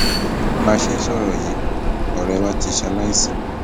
bá a ṣe ń sọrọ yìí ọrẹ wa ti ṣaláìsí